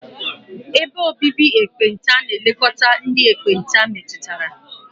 Ebe obibi ekpenta na-elekọta ndị ekpenta metụtara.